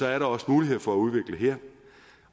er der også mulighed for at udvikle